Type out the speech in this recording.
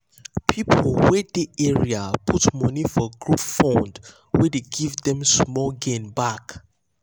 people wey dey area put money for group fund wey dey give them small gain back.